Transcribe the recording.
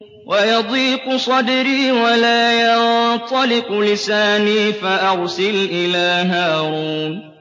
وَيَضِيقُ صَدْرِي وَلَا يَنطَلِقُ لِسَانِي فَأَرْسِلْ إِلَىٰ هَارُونَ